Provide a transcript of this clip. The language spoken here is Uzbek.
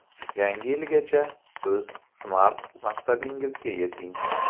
Yangi yilgacha o‘z SMART maqsadingizga yeting!!!